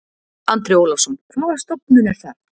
Andri Ólafsson: Hvaða stofnun er það?